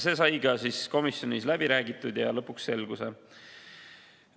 See sai ka komisjonis läbi räägitud ja lõpuks selguse.